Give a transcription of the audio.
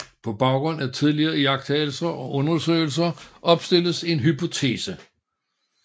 På baggrund af tidligere iagttagelser og undersøgelser opstilles en hypotese